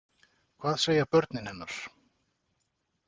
Hvað segja börnin hennar?